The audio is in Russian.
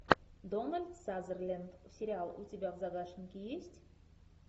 дональд сазерленд сериал у тебя в загашнике есть